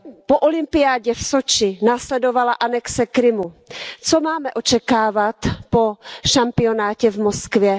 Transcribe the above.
Po olympiádě v Soči následovala anexe Krymu, co máme očekávat po šampionátu v Moskvě?